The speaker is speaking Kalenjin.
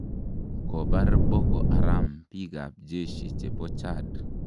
Kobar Boko Haram bikab jeshi che bo Chad